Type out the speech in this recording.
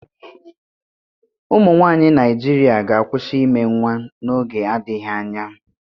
Ụmụ nwanyị Naijiria ga-akwụsị ime nwa n'oge adịghị anya